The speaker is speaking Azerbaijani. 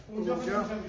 Çox səhvdir.